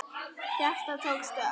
Hjartað tók stökk!